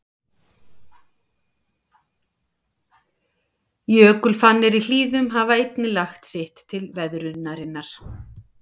Jökulfannir í hlíðum hafa einnig lagt sitt til veðrunarinnar.